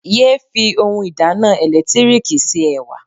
Yéé fi oun ìdáná ẹ̀lẹ́tíríkì se Ẹ̀wà.